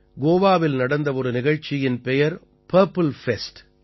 கோவாவில் நடந்த ஒரு நிகழ்ச்சியின் பெயர் பர்ப்பில் ஃபெஸ்ட்